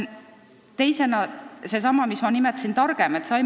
Teiseks seesama, mida ma nimetasin – targem ühiskond.